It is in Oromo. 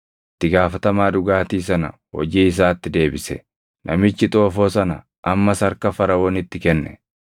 Itti gaafatamaa dhugaatii sana hojii isaatti deebise; namichi xoofoo sana ammas harka Faraʼoonitti kenne.